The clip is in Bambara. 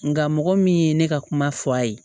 Nka mɔgɔ min ye ne ka kuma fɔ a ye